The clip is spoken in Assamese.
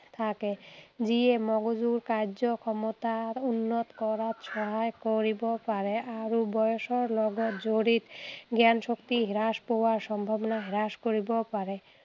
থাকে, যিয়ে মগজুৰ কাৰ্যক্ষমতাৰ উন্নত কৰাত সহায় কৰিব পাৰে আৰু বয়সৰ লগত জড়িত জ্ঞানশক্তি হ্ৰাস পোৱাৰ সম্ভাৱনা হ্ৰাস কৰিব পাৰে।